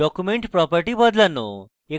document properties বদলানো